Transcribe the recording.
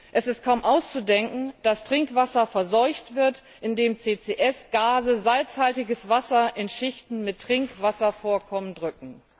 Es ist kaum auszudenken, was passiert, wenn Trinkwasser verseucht wird, indem CCS Gase salzhaltiges Wasser in Schichten mit Trinkwasservorkommen drücken.